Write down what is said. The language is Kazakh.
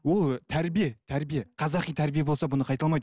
ол тәрбие тәрбие қазақи тәрбие болса бұны қайталамайды